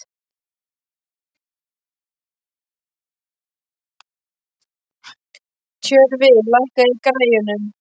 Tjörfi, lækkaðu í græjunum.